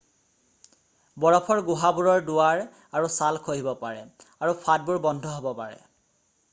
বৰফৰ গুহাবোৰৰ দুৱাৰ আৰু চাল খহিব পাৰে আৰু ফাঁটবোৰ বন্ধ হব পাৰে